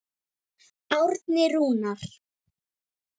Árni Rúnar.